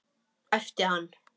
æpti hann.